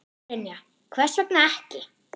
Brynja: Hvers vegna ekki?